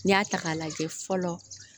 N'i y'a ta k'a lajɛ fɔlɔ